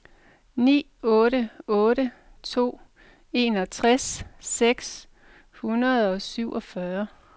ni otte otte to enogtres seks hundrede og syvogfyrre